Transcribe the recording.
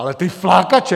Ale ty flákače...